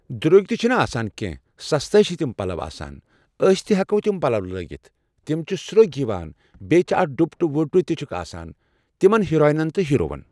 درٛوٚگۍ تہِ چھِنہٕ آسان کٮ۪نٛہہ سَستے چھِ تِم پلو آسان أسۍ تہِ ہیٚکو تِم پلو لٲگِتھ تِم چھِ سروٚگۍ یِوان بیٚیہِ چھِ اتھ ڈپٹہٕ وپٹہٕ تہِ چھُکھ آسان تِمن ہیٖرانٮ۪ن تہٕ ہیٖروون۔